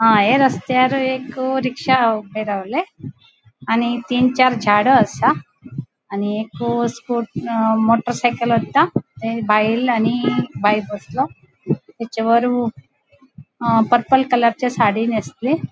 हा ये रस्त्यार एक रिक्शा ऊबे रावले आणि तीन चार झाडा आसा आणि एक स्कु मोटर सायकल वरता ते बायल आणि बायल बसला हेचेवर अ पर्पल कलर चे साड़ी नेस्ले --